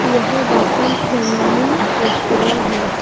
यह Dasham family restaurant है।